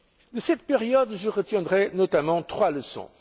De cette période, je retiendrai notamment trois leçons.